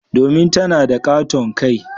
Domin tana da katon kai.